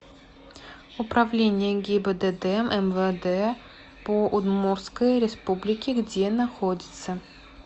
управление гибдд мвд по удмуртской республике где находится